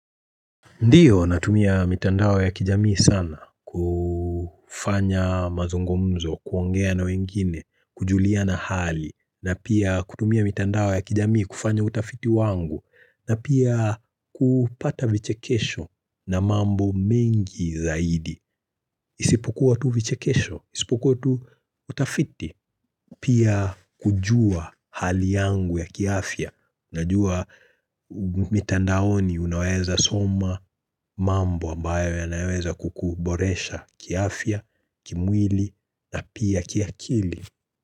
Ndio natumia mitandao ya kijamii sana kufanya mazungumzo, kuongea na wengine, kujuliana hali na pia kutumia mitandao ya kijamii kufanya utafiti wangu na pia kupata vichekesho na mambo mengi zaidi Isipokuwa tu vichekesho, isipokuwa tu utafiti Pia kujua hali yangu ya kiafya najua mitandaoni unaweza soma mambo ambayo yanaweza kukuboresha kiafya, kimwili na pia kiakili.